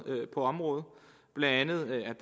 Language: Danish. på området blandt andet er